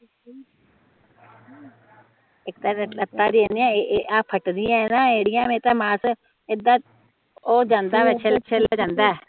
ਆ ਫਟਦੀਆਂ ਏਡਿਆ ਮੇਰੀ ਤਾ ਮਾਸ ਏਦਾਂ ਉਹ ਜਾਂਦਾ ਵਿਚ ਛਿੱਲ ਛਿੱਲ ਜਾਂਦਾ ਏ